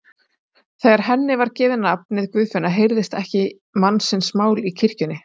Þegar henni var gefið nafnið Guðfinna heyrðist ekki mannsins mál í kirkjunni.